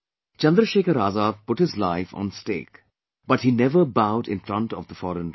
Chandrashekhar Azad put his life on the stake, but he never bowed in front of the foreign rule